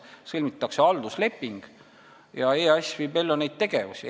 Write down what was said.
Selleks sõlmitakse haldusleping ja EAS viib neid tegevusi ellu.